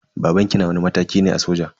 Babanki na wani mataki ne a soja?